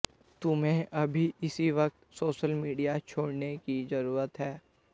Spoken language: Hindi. तुम्हें अभी इसी वक्त सोशल मीडिया छोड़ने की जरूत है